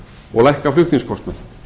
og lækka flutningskostnað